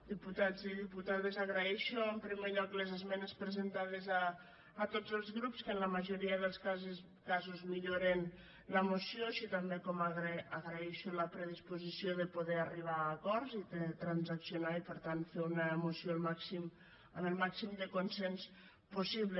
diputats i diputades agraeixo en primer lloc les esmenes presentades a tots els grups que en la majoria dels casos milloren la moció així com també agraeixo la predisposició de poder arribar a acords i de transaccionar i per tant fer una moció amb el màxim de consens possible